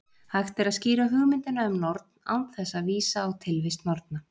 Hægt er að skýra hugmyndina um norn án þess að vísa á tilvist norna.